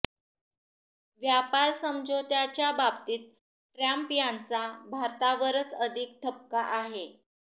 व्यापार समझोत्याच्या बाबतीत ट्रम्प यांचा भारतावरच अधिक ठपका आहे